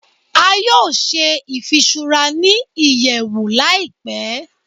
A yoo ṣe ifiṣura ni iyẹwu laipe